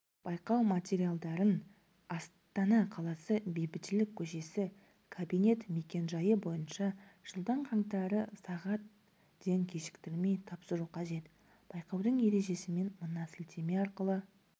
байқау материалдарын астана қаласы бейбітшілік көшесі кабинет мекенжайы бойынша жылдың қаңтары сағат ден кешіктірмей тапсыру қажет байқаудың ережесімен мына сілтеме арқылы